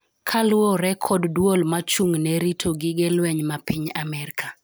kaluwore kod duol mochung'ne rito gige lweny ma piny Amerka